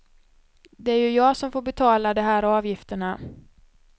Det är ju jag som får betala de här avgifterna.